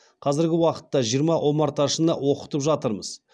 қазіргі уақытта жиырма омарташыны оқытып жатырмыз